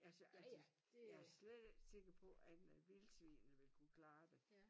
Altså altså jeg er slet ikke sikker på at vildsvinene ville kunne klare det